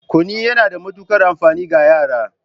Kunu yana da matukar amfani ga yara